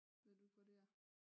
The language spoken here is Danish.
Ved du ikke hvor det er?